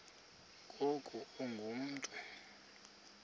ngoku ungu mntu